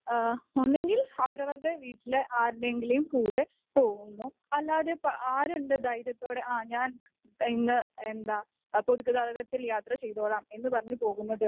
ഒന്നുകിൽ അവരവരുടെ വീട്ടിലെ ആരുടെയെങ്കിലും കൂടെ പോകുന്നു . അല്ലാതെ ആരുണ്ട് ധൈര്യത്തോടെ ആ ഞാൻ ഇന്ന് എന്താ പൊതുഗതാഗതത്തിൽ യാത്ര ചെയ്തോളാം എന്ന് പറഞ്ഞു പോകുന്നത്?